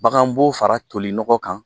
Baganbo fara toli nɔgɔ kan